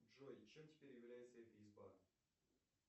джой чем теперь является этисбан